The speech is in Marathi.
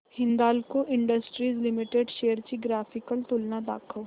हिंदाल्को इंडस्ट्रीज लिमिटेड शेअर्स ची ग्राफिकल तुलना दाखव